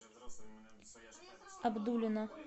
абдулино